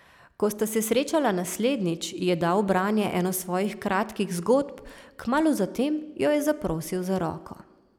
Ko sta se srečala naslednjič, ji je dal v branje eno svojih kratkih zgodb, kmalu zatem jo je zaprosil za roko.